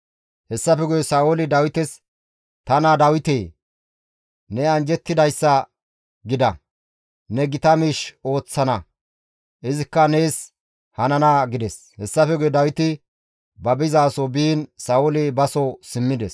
Hessafe guye Sa7ooli Dawites, «Ta naa Dawite! Ne anjjettidayssa gida; ne gita miish ooththana; izikka nees hanana» gides. Hessafe guye Dawiti ba bizaso biin Sa7ooli baso simmides.